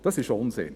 Das ist Unsinn.